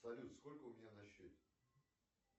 салют сколько у меня на счете